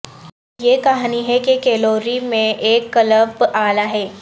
یہ کہانی ہے کہ کیلوری میں ایک قلب اعلی ہے